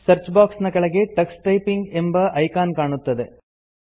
search box ನ ಕೆಳಗೆ Tux typing ಎಂಬ ಐಕಾನ್ ಕಾಣುತ್ತದೆ